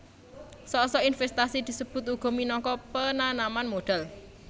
Sok sok invèstasi disebut uga minangka penanaman modhal